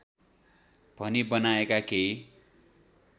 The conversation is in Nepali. भनी बनाएका केही